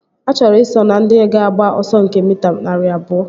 Achọrọ i so na ndị ga-agba ọsọ nke mita narị abụọ